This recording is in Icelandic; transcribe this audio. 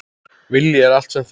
Vilji er allt sem þarf!